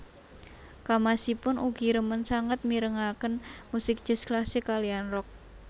Kamasipun ugi remen sanget mirengaken musik jazz klasik kaliyan rock